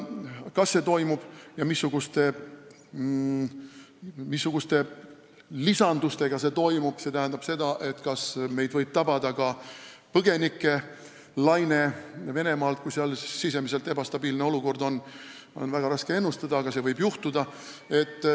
Kas see toimub ja missuguste lisandustega see toimub – st kas meid võib tabada ka põgenikelaine Venemaalt, kui seal sisemiselt ebastabiilne olukord tekib –, on väga raske ennustada, aga see võib juhtuda.